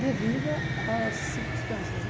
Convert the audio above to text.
Devido às circunstâncias, né?